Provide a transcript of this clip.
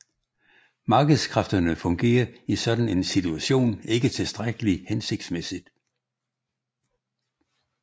Markedskræfterne fungerer i sådan en situation ikke tilstrækkelig hensigtsmæssigt